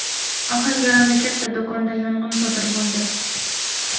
Ohangarondagi katta do‘konda yong‘in sodir bo‘ldi.